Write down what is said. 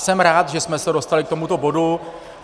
Jsem rád, že jsme se dostali k tomuto bodu.